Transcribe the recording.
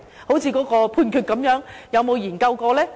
正如那項判決般，有沒有研究過呢？